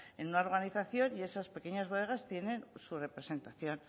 en una organización y esas pequeñas bodegas tienen su representación